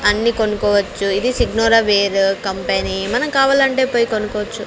అన్ని కొనుక్కోవచ్చు ఇది సిగ్నొరవేరు కంపెనీ మనం కావాలంటే పోయి కొనుకోవచ్చు.